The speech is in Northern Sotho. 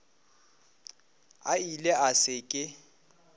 a ile a se ke